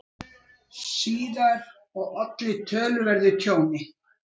síðar og olli töluverðu tjóni.